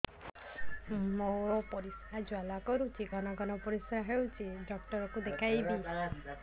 ମୋର ପରିଶ୍ରା ଜ୍ୱାଳା କରୁଛି ଘନ ଘନ ପରିଶ୍ରା ହେଉଛି ଡକ୍ଟର କୁ ଦେଖାଇବି